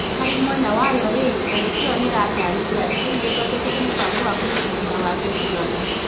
Harĩ mwena wayo rĩ, kamĩtĩ ĩyo ni ĩrataarĩria atĩ nĩ ĩthondekete mũbango wa kũruta wĩra wa gĩthurano,